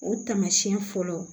O taamasiyɛn fɔlɔ